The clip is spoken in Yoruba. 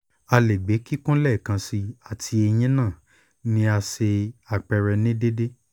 a le gbe kikun lẹẹkansi ati eyin naa ni a ṣe apẹrẹ ni deede